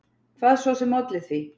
Hvað svo sem olli því.